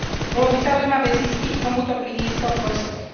Bolo by zaujímavé zistiť, komu to prinieslo prospech.